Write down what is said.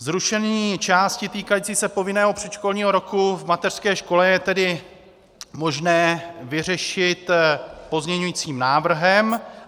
Zrušení části týkající se povinného předškolního roku v mateřské škole je tedy možné vyřešit pozměňujícím návrhem.